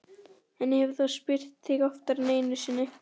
Hann hefur þá spurt þig oftar en einu sinni?